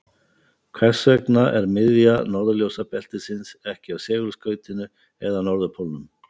Hvers vegna er miðja norðurljósabeltisins ekki á segulskautinu eða norðurpólnum?